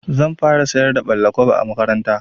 Zan fara sayar da ɓalla-kwabo a makaranta.